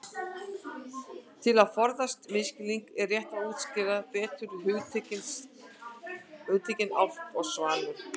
Til þess að forðast misskilning er rétt að útskýra betur hugtökin álft og svanur.